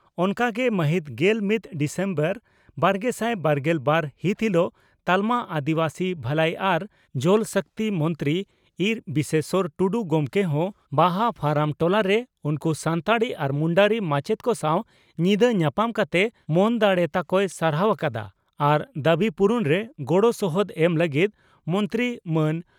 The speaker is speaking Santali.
ᱚᱱᱠᱟᱜᱮ ᱢᱟᱹᱦᱤᱛ ᱜᱮᱞ ᱢᱤᱛ ᱰᱤᱥᱮᱢᱵᱚᱨ ᱵᱟᱨᱜᱮᱥᱟᱭ ᱵᱟᱨᱜᱮᱞ ᱵᱟᱨ ᱦᱤᱛ ᱦᱤᱞᱚᱜ ᱛᱟᱞᱢᱟ ᱟᱹᱫᱤᱵᱟᱹᱥᱤ ᱵᱷᱟᱹᱞᱟᱹᱭ ᱟᱨ ᱡᱚᱞ ᱥᱚᱠᱛᱤ ᱢᱚᱱᱛᱨᱤ ᱤᱨᱹ ᱵᱤᱥᱮᱥᱚᱨ ᱴᱩᱰᱩ ᱜᱚᱢᱠᱮ ᱦᱚᱸ ᱵᱟᱦᱟ ᱯᱷᱟᱨᱟᱢ ᱴᱚᱞᱟᱨᱮ ᱩᱱᱠᱩ ᱥᱟᱱᱛᱟᱲᱤ ᱟᱨ ᱢᱩᱱᱰᱟᱹᱨᱤ ᱢᱟᱪᱮᱛ ᱠᱚ ᱥᱟᱣ ᱧᱤᱫᱟᱹ ᱧᱟᱯᱟᱢ ᱠᱟᱛᱮ ᱢᱚᱱ ᱫᱟᱲᱮ ᱛᱟᱠᱚᱭ ᱥᱟᱨᱥᱟᱣ ᱟᱠᱟᱫᱼᱟ ᱟᱨ ᱫᱟᱵᱤ ᱯᱩᱨᱩᱱᱨᱮ ᱜᱚᱲᱚ ᱥᱚᱦᱚᱫ ᱮᱢ ᱞᱟᱹᱜᱤᱫ ᱢᱚᱱᱛᱨᱤ ᱢᱟᱱ